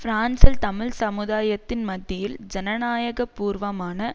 பிரான்சில் தமிழ் சமுதாயத்தின் மத்தியில் ஜனநாயகபூர்வமான